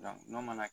n'o mana